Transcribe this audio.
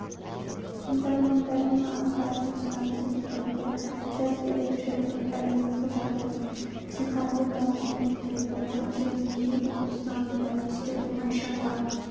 тыңдармандардың ақпараттық сұранысы дегенде жас ерекшелігін әлеуметтік жағдайын психологиялық көңіл-күйін ұлттық және діни ұстанымдарын ескеру оңай шаруа